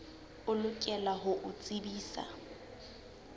o lokela ho o tsebisa